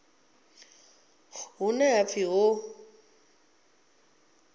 hune ha nga pfi ho